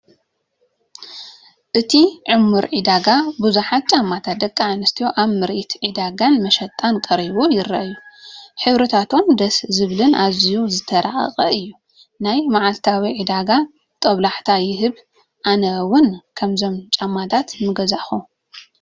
ኣብቲ ዕሙር ዕዳጋ ብዙሓት ጫማታት ደቂ ኣንስትዮ ኣብ ምርኢት ዕዳጋን መሸጣን ክቐርቡ ይረኣዩ። ሕብርታቶም ደስ ዘብልን ኣዝዩ ዝተራቐቐን እዩ፤ ናይ መዓልታዊ ዕዳጋ ጦብላሕታ ይህብ ኣነ ውን ካብዞም ጫማታት ምገዛእኹ።